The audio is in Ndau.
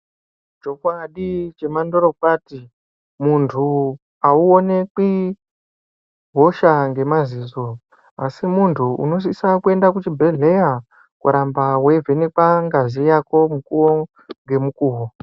Chokwadi chemandorokwati, muntu auonekwi hosha ngemaziso, asi muntu unosisa kuenda kuchibhedhleya, koramba weivhenekwa ngazi yako mukuwo ngemukuwo.